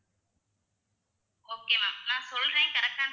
okay ma'am ma'am சொல்றேன் correct ஆன்னு